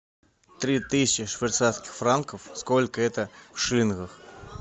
три тысячи швейцарских франков сколько это в шиллингах